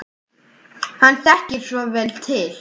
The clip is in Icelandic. Hann þekkir svo vel til.